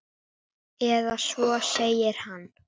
Eða svo segir hann!